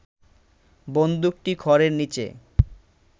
বন্দুকটি খড়ের নিচে